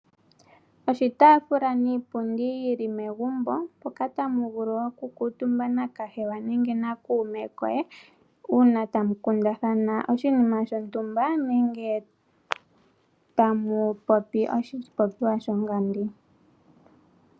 Oshitaafula niipundi yi li megumbo, mpoka tamu vulu woo oku kuutumba nakahewa nenge na kuume koye uuna tamu kundathana oshinima shontumba nenge tamu popi oshipopiwa sho ngandi.